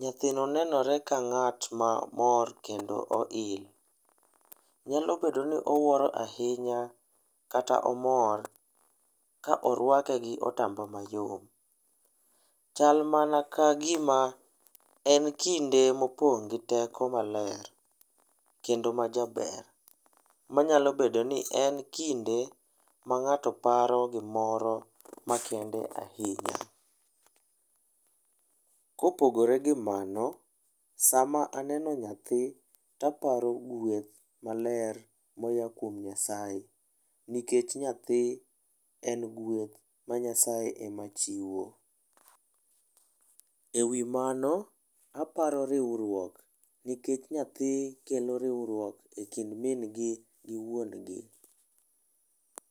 Nyathino nenore ka ng'at ma mor kondo ohil. Nyalo bedo ni owuoro ahinya kata omor ka orwake gi otamba mayom. Chal mana ka gima en kinde mopong' gi teko maler kendo ma jaber, manyalo bedo ni en kinde ma ng'ato paro gimoro makende ahinya. Kopogore gi mano, sama aneno nyathi, taparo gweth maler moya kuom Nyasaye. Nikech nyathi en gweth ma Nyasaye ema chiwo. Ewi mano, aparo riwruok, nikech nyathi ema kelo riwruok e kind min gi gi wuon gi.